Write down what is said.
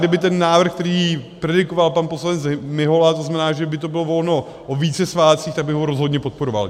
Kdyby ten návrh, který predikoval pan poslanec Mihola, to znamená, že by to bylo volno o více svátcích, tak bych ho rozhodně podporoval.